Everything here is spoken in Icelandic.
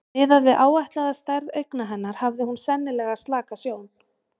Miðað við áætlaða stærð augna hennar hafði hún sennilega slaka sjón.